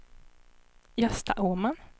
Gösta Åman